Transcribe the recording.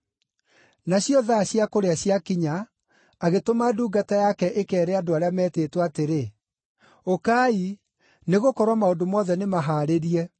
Nacio thaa cia kũrĩa ciakinya, agĩtũma ndungata yake ĩkeere andũ arĩa meetĩtwo atĩrĩ, ‘Ũkai, nĩgũkorwo maũndũ mothe nĩmahaarĩrie.’